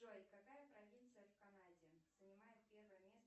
джой какая провинция в канаде занимает первое место